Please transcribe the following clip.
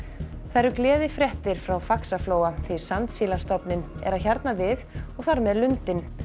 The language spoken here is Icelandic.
það eru gleðifréttir frá Faxaflóa því sandsílastofninn er að hjarna við og þar með lundinn